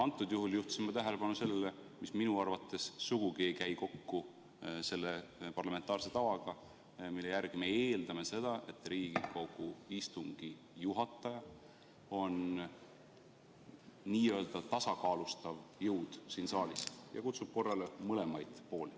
Praegu juhtisin ma tähelepanu sellele, mis minu arvates sugugi ei käi kokku selle parlamentaarse tavaga, mille järgi me eeldame, et Riigikogu istungi juhataja on n-ö tasakaalustav jõud siin saalis ja kutsub korrale mõlemaid pooli.